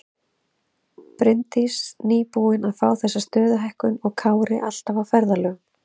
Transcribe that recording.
Bryndís nýbúin að fá þessa stöðuhækkun og Kári alltaf á ferðalögum.